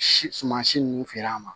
Si sumasi ninnu feere an ma